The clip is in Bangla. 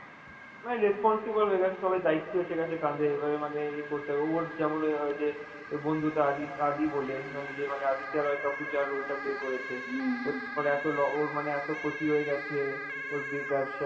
মানে responsible হয়ে গেছে, সবাই দায়িত্বে এসে গেছে কাঁধে এইবারে মানে এ করতে হবে, ওর যে ওই বন্ধুটা আদি~ আদি বলে, মানে যে মানে আদিত্য রয় কাপুর যার role টা play করেছে এত ল~ ওর মানে এত ক্ষতি হয়ে গেছে, কর বে~ ব্যবসা